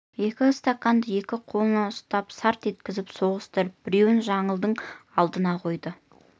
екі стаканды екі қолына ұстап сарт еткізіп соғыстырып біреуін жаңылдың алдына қойды